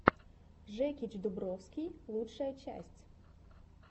жекич дубровский лучшая часть